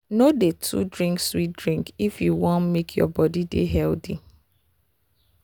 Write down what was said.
no dey too drink sweet drink if you wan make your body dey healthy.